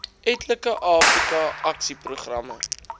etlike afrika aksieprogramme